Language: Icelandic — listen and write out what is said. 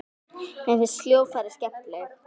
Mér finnst hljóðfræði skemmtileg.